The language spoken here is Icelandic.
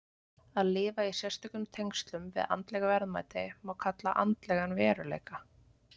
Að lifa í sérstökum tengslum við andleg verðmæti má kalla andlegan veruleika.